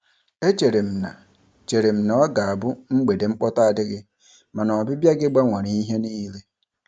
E chere m na chere m na ọ ga-abụ mgbede mkpọtụ adịghị, mana ọbịbịa gị gbanwere ihe niile.